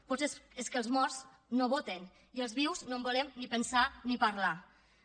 potser és que els morts no voten i els vius no volem ni pensar ne ni parlar ne